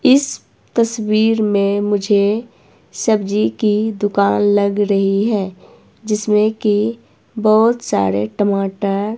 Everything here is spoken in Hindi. इस तस्वीर में मुझे सब्जी की दुकान लग रही है जिसमें की बहोत सारे टमाटर--